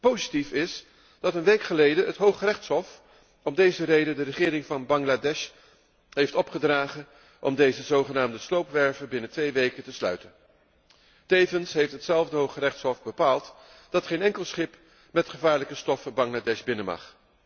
Positief is dat een week geleden het Hooggerechtshof om deze reden de regering van Bangladesh heeft opgedragen om deze zogenaamde sloopwerven binnen twee weken te sluiten. Tevens heeft hetzelfde Hooggerechtshof bepaald dat geen enkel schip met gevaarlijke stoffen Bangladesh binnen mag.